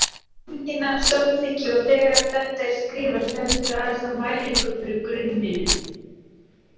Hefur teikningin náð samþykki og þegar þetta er skrifað stendur aðeins á mælingum fyrir grunninum.